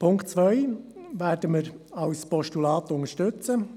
Die Ziffer 2 werden wir als Postulat unterstützen.